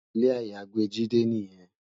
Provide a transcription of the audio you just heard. Ilé àyágbé Jide niyèn